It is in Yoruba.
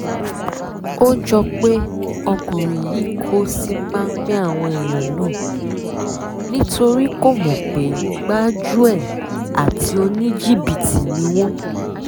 ó jọ pé ọkùnrin yìí kò sí páńpẹ́ àwọn èèyàn náà nítorí kó mọ̀ pé gbájú-ẹ̀ àti oníjìbìtì ni wọ́n